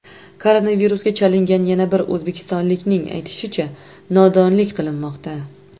Koronavirusga chalingan yana bir o‘zbekistonlikning aytishicha, nodonlik qilinmoqda.